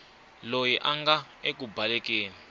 loyi a nga eku balekeni